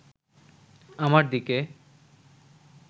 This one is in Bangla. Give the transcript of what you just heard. আমার দিকে